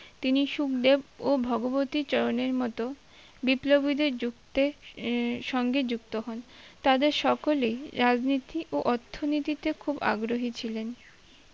তিনি সুখদেব ও ভগবতী চরণের মতো বিপ্লবীদের যুক্তে~এ সঙ্গে যুক্ত হন তবে সকলেই রাজনীতি ও অর্থনীতিতে খুব আগ্রহী ছিলেন